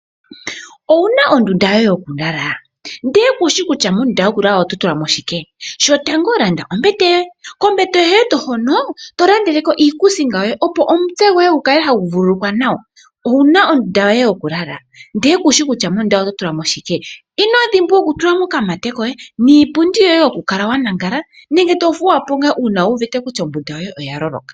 Owu na ondunda yoye yokulala ndee shi kutya mondunda yokulala oto tulamo shike? shokatango land ombete yoya kombete yoye hono tolandeleko iikusinga yoye opo omutse gwoye gu kale hagu vululukwa nawa owuna ondunda yoye yokulala inodhimbwa oku tula mo okamate hoka to vulu okulala ko nenge to thuwa po ngaa ngele wu wete ombunda yoye yaloloka.